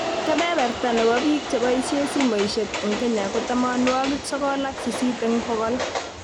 Kebeberta nebo biik cheboisie simoishek eng Kenya ko tamanwokik sokol ak sisit eng bokol